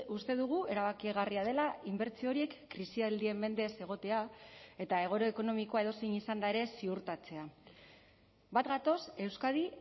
uste dugu erabakigarria dela inbertsio horiek krisialdien mende ez egotea eta egoera ekonomikoa edozein izanda ere ziurtatzea bat gatoz euskadi